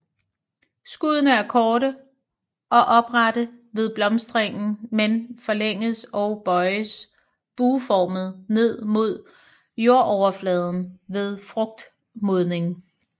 Skuddene er korte og oprette ved blomstringen men forlænges og bøjes bueformet ned mod jordoverfladen ved frugtmodning